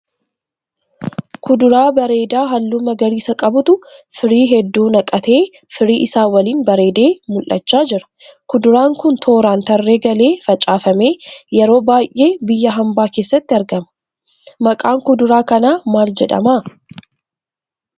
Kuduraa bareedaa halluu magariisa qabutu firii hedduu naqatee firii isaa waliin bareedee mal'achaa jira. Kuduraan kun tooraan tarree galee facaafame. Yeroo baay'ee biyya hambaa keessatti argama. Maqaan kuduraa kanaa maal jedhema?